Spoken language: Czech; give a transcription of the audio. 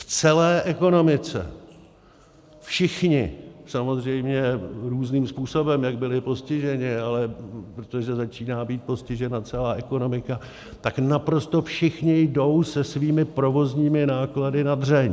V celé ekonomice všichni samozřejmě různým způsobem, jak byli postiženi, ale protože začíná být postižena celá ekonomika, tak naprosto všichni jdou se svými provozními náklady na dřeň.